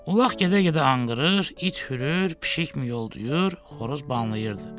Ulaq gedə-gedə anqırır, it hürür, pişik miyoldayır, xoruz banlayırdı.